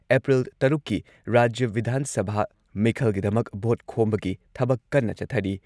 April ꯇꯔꯨꯛꯀꯤ ꯔꯥꯖ꯭ꯌ ꯚꯤꯙꯥꯟ ꯁꯚꯥ ꯃꯤꯈꯜꯒꯤꯗꯃꯛ ꯚꯣꯠ ꯈꯣꯝꯕꯒꯤ ꯊꯕꯛ ꯀꯟꯅ ꯆꯠꯊꯔꯤ